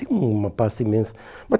Tem uma parte imensa. Mas